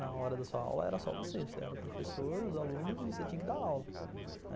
Na hora da sua aula era só você, você era o professor, os alunos e você tinha que dar aula.